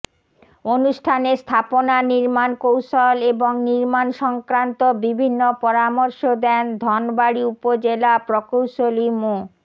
অনুষ্ঠানে স্থাপনা নির্মাণকৌশল এবং নির্মাণসংক্রান্ত বিভিন্ন পরামর্শ দেন ধনবাড়ী উপজেলা প্রকৌশলী মো